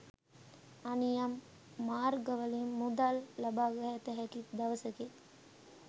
අනියම් මාර්ගවලින් මුදල් ලබාගත හැකි දවසකි.